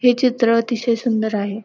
हे चित्र अतिशय सुंदर आहे.